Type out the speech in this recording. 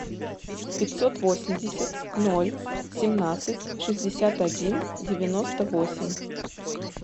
пятьсот восемьдесят ноль семнадцать шестьдесят один девяносто восемь